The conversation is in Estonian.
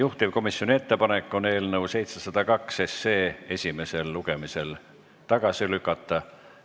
Juhtivkomisjoni ettepanek on eelnõu 702 esimesel lugemisel tagasi lükata.